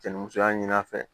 Cɛ ni musoya ɲini a fɛ